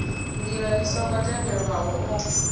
ndila i songo tendelwaho o